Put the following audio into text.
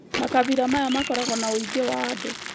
makabĩla maya makoragwo na wũingĩ wa andũ